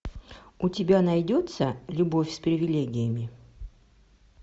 у тебя найдется любовь с привилегиями